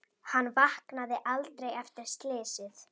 Hann vaknaði aldrei eftir slysið.